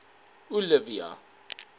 olivia